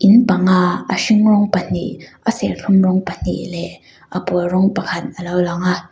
in panga a hring rawng pahnih a serthlum rawng pahnih leh a pawl rawng pakhat alo lang a.